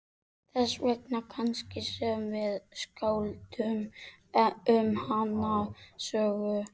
Þess vegna kannski sem við skálduðum um hana sögu.